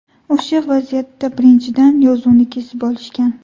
O‘sha vaziyatda, birinchidan, yozuvni kesib olishgan.